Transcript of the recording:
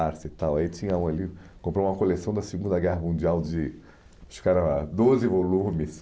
Ar se tal Aí tinha um ali, comprou uma coleção da Segunda Guerra Mundial de, acho que era doze volumes.